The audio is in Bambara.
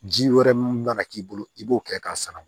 Ji wɛrɛ mun mana k'i bolo i b'o kɛ k'a sanuya